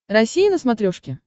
россия на смотрешке